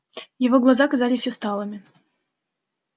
его глаза казались усталыми